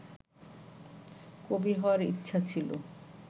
কবি হওয়ার ইচ্ছা ছিল